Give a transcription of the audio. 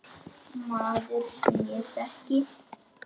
Maður, sem ég þekki.